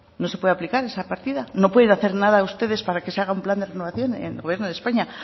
no se pueda aplicar esa partida no pueden hacer nada ustedes para que se haga un plan de renovación en el gobierno de españa